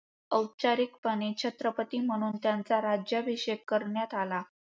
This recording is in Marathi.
औपचारिकपणे छत्रपती म्हणून त्यांचा राज्याभिषेक करण्यात आला.